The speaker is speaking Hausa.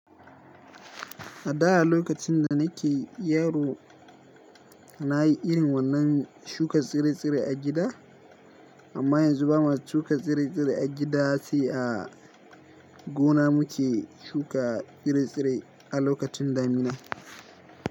A da lokacin da nake yaro na yi irin wannan shuka tsire-tsire a gida, amma yanzu ba na shuka tsire-tsire a gida ba sai a gona muke shuka tsire-tsire a lokacin damina.